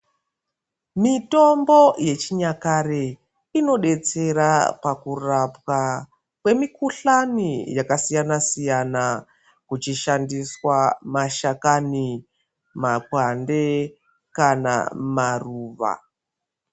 Mitombo yechinyakare inodetsera pakurapwa yemikuhlani yakasiyana siyana kuchishandiswa mashakani makwande kana maruwa.